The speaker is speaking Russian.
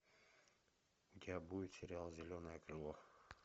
у тебя будет сериал зеленое крыло